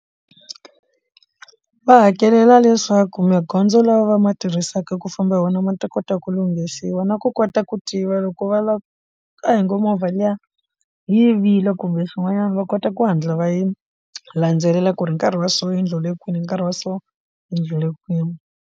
Va hakelela leswaku magondzo lawa va ma tirhisaka ku famba hi wona ma ta kota ku lunghisiwa na ku kota ku tiva loko va lava a hi ngo movha liya yivile kumbe xin'wanyana va kota ku hatla va yi landzelela ku ri nkarhi wa so endlile kwini hi nkarhi wa so endlile kwini.